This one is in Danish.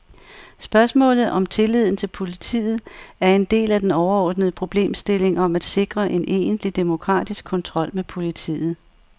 Spørgsmålet om tilliden til politiet er en del af den overordnede problemstilling om at sikre en egentlig demokratisk kontrol med politiet.